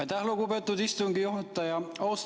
Aitäh, lugupeetud istungi juhataja!